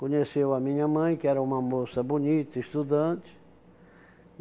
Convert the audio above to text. Conheceu a minha mãe, que era uma moça bonita, estudante.